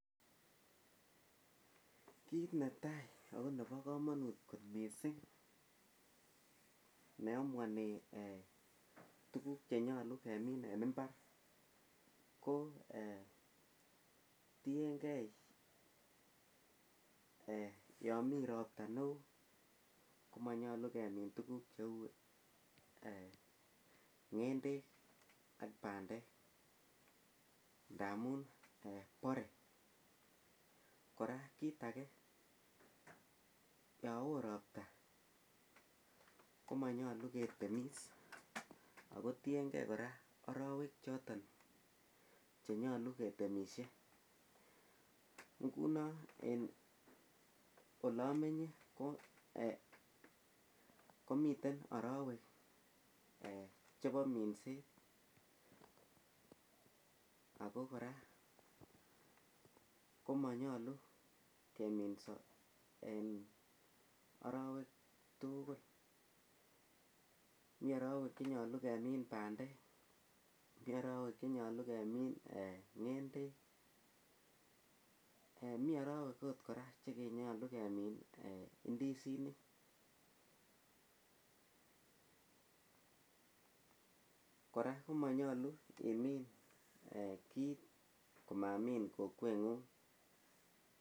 Kit netai akoba kamanut kot mising neamuani kit nenyalu kemin en imbar kotiyengei Yami robta neon komanyalu kemin tuguk cheu ngendek ak bandek ndamun bare kora kit age yawon robta komanyalu ketemis akotiengei arawek choton chenyalu ketemis ngunon en olamenye komiten arawek chebo minset akokoraa komanyalu keminso en arawek tugul mi arawek chenyalu kemin bandek mi arawek chenyalu kemin ngendek mi arawek okot koraa chenyalu kemin indisinik kora komanyalu imin kit komamin Kokwenyun